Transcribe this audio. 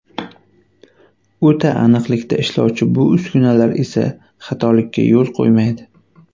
O‘ta aniqlikda ishlovchi bu uskunalar esa xatolikka yo‘l qo‘ymaydi.